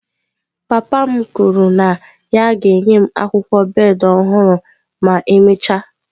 Papa m kwuru na ya ga-enye m akwụkwọ bed ọhụrụ ma emechaa.